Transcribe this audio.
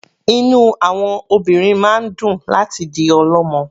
Inú àwọn obìnrin máa ń dùn láti di ọlọ́mọ.